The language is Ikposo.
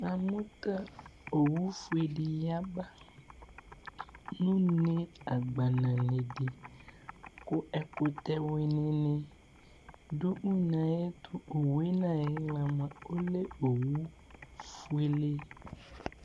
Namʋ kʋ owʋfue di ya nʋ agbana une di kʋ ɛkʋtɛ wini dʋ une yɛ ayʋ ɛtʋ owʋe nʋ ayixla lɛ owʋfue